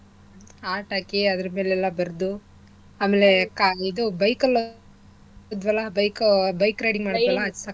Heart ಹಾಕಿ ಅದ್ರಮೇಲೆಲ್ಲಾ ಬರ್ದು ಆಮೇಲೆ ಆ ಇದು ಕಾ~ bike ಅಲ್ ಹೋದ್ವಲ್ಲ bike bike riding ಮಾಡಿದ್ವಲ್ಲಾ ಸಕ್ಕತ್ತಾಗಿತ್ತು.